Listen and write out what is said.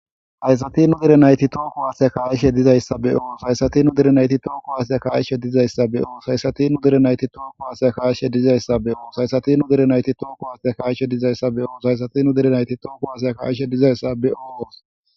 haysati nu dere nayti too kuwase ka'ishe dizayssa be'os.